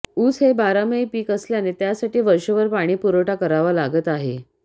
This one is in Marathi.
ऊस हे बारमाही पीक असल्याने त्यासाठी वर्षभर पाणीपुरवठा करावा लागत आहे